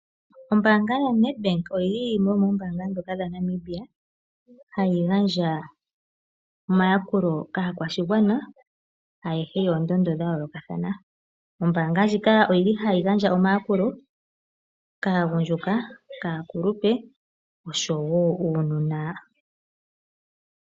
Ombanga yoNedbank oyili yimwe yomo ombanga dhoka dhaNamibia hayi gandja omayakulo kaakwashigwana ayehe yoondondo dha yolokathana. Ombanga ndjika oyili hayi gandja omayakulo kaagundjuka, kaakulupe oshowo uunona.